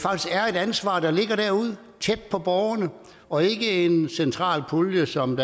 ansvar der ligger derude tæt på borgerne og ikke en central pulje som